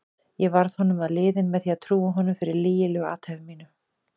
Ég varð honum að liði með því að trúa honum fyrir lygilegu athæfi mínu.